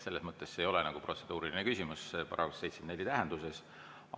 Selles mõttes ei ole see protseduuriline küsimus § 74 tähenduses.